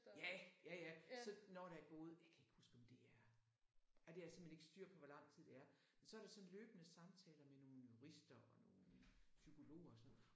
Ja ja ja så når der er gået jeg kan ikke huske om det er ej det har jeg simpelthen ikke styr på hvor lang tid det er. Men så er der sådan løbende samtaler med nogen jurister og nogen psykologer og sådan noget